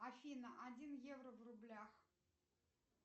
афина один евро в рублях